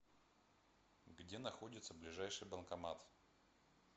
где находится ближайший банкомат